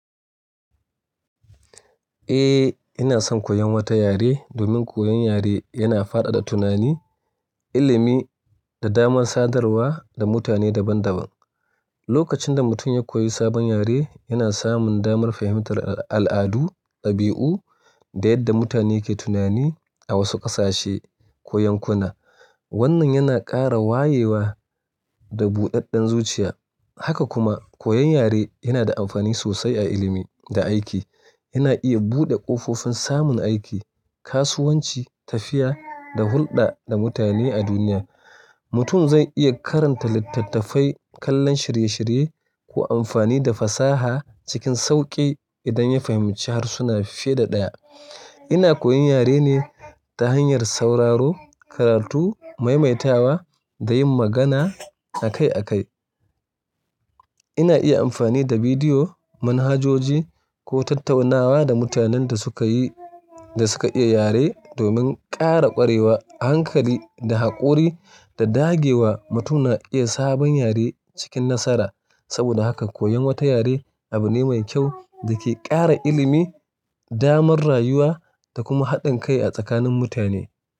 Eh, ina son koyon wata yare domin koyon yare yana faɗaɗa tunani, ilimi da damar sadarwa da mutane daban-daban. Lokacin da mutum ya koyi sabon yare, yana samun damar fahimtar al'adu, dabi'u da yadda mutane ke tunani a wasu ƙasashe ko yankuna. Wannan yana ƙara wayewa da buɗaɗɗen zuciya. Haka kuma, koyon yare yana da amfani sosai a ilimi da aiki. Yana iya buɗe ƙofofin samun aiki, kasuwanci, tafiya da hulɗa da mutane a duniya. Mutum zai iya karanta littattafai, kallon shirye-shirye ko amfani da fasaha cikin sauƙi idan ya fahimci harsuna fiye da ɗaya. Ina koyon yare ne ta hanyar sauraro, karatu, maimaitawa da yin magana a kai a kai. Ina iya amfani da bidiyo, manhajoji ko tattaunawa da mutanen da suka yi, da suka iya yare domin ƙara ƙwarewa a hankali da haƙuri da dagewa mutum na iya sabon yare cikin nasara. Saboda haka koyon wata yare abu ne mai kyau da ke ƙara ilimi, damar rayuwa da kuma haɗin kai a tsakanin mutane.